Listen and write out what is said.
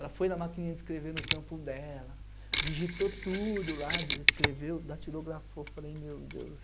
Ela foi na maquininha de escrever no trampo dela, digitou tudo lá, escreveu, datilografou, falei, meu Deus.